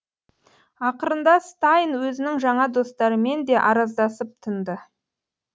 ақырында стайн өзінің жаңа достарымен де араздасып тынды